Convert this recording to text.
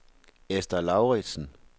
Ester Lauridsen